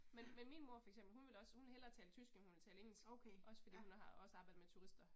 Men men min mor for eksempel hun vil også, hun vil hellere tale tysk end hun vil tale engelsk. Også fordi hun har også arbejdet med turister